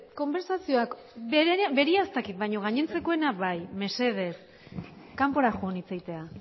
konbertsazioak berea ez dakit baina gainontzekoena bai mesedez kanpora joan hitz egitea